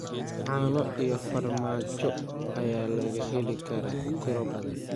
Caano iyo farmaajo ayaa laga heli karaa tiro badan.